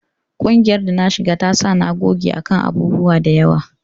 Ƙungiyar da na shiga ta sa na goge a kan abubuwa da yawa